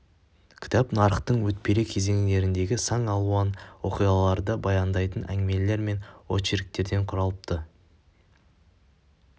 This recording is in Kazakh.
кітап нарықтың өтпелі кезеңіндегі сан алуан оқиғаларды баяндайтын әңгімелер мен очерктерден құралыпты